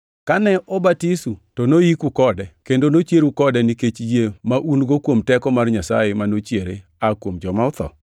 Kane obatisu, to noyiku kode kendo nochieru kode nikech yie ma un-go kuom teko mar Nyasaye ma nochiere oa kuom joma otho.